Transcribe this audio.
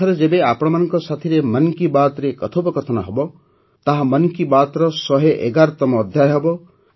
ଏଥର ଯେବେ ଆପଣମାନଙ୍କ ସାଥିରେ ମନ୍ କି ବାତ୍ରେ କଥୋପକଥନ ହେବ ତାହା ମନ୍ କି ବାତ୍ର ୧୧୧ତମ ଅଧ୍ୟାୟ ହେବ